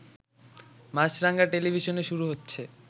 মাছরাঙা টেলিভিশনে শুরু হচ্ছে